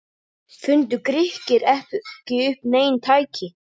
Fundu Grikkir ekki upp nein tæki?